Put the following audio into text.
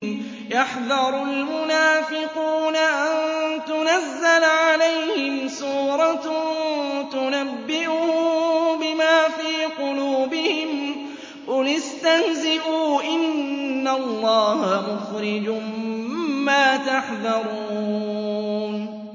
يَحْذَرُ الْمُنَافِقُونَ أَن تُنَزَّلَ عَلَيْهِمْ سُورَةٌ تُنَبِّئُهُم بِمَا فِي قُلُوبِهِمْ ۚ قُلِ اسْتَهْزِئُوا إِنَّ اللَّهَ مُخْرِجٌ مَّا تَحْذَرُونَ